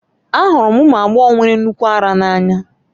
Ahụrụ m ụmụ agbọghọ nwere nnukwu ara n'anya